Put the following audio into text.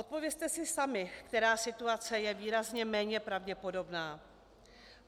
Odpovězte si sami, která situace je výrazně méně pravděpodobná.